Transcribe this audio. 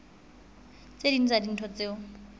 tse ding tsa dintho tseo